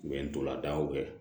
U bɛ ntolan tan o kɛ